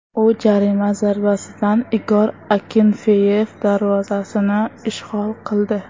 U jarima zarbasidan Igor Akinfeyev darvozasini ishg‘ol qildi.